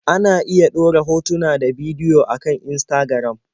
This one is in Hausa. Ana iya ɗora hotuna ta bidiyo a kan Instagram.